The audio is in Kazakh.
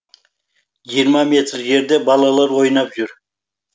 жиырма метр жерде балалар ойнап жүр